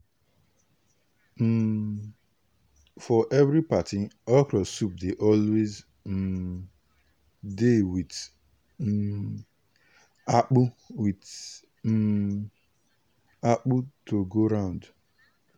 um for every party okro soup dey always um dey with um akpo with um akpo to go round.